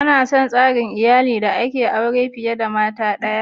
Kana son sarin iyallin da ake yin aure fiyar da mata daya?